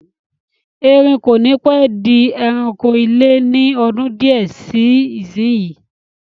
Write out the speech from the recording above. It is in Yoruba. Erin kò ní pẹ́ di ẹranko ilé ni ọdún di ẹ síí isinyi